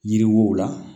Yiri wo la